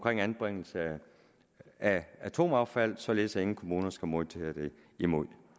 anbringelse af atomaffald således at ingen kommuner skal modtage det imod